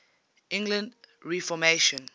english reformation